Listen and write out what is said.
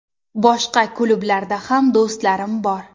Boshqa klublarda ham do‘stlarim bor.